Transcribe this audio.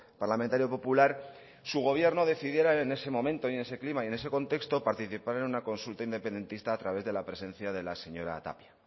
parlamentario popular su gobierno decidiera en ese momento y en ese clima y en ese contexto participar en una consulta independentista a través de la presencia de la señora tapia